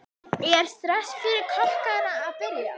Er stress fyrir kokkana að byrja?